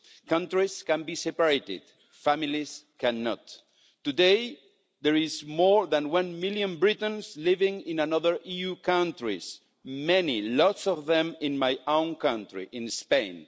Countries can be separated families cannot. Today, there is more than one million Britons living in other EU countries lots of them in my own country, in Spain.